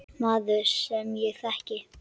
Maður, sem ég þekki.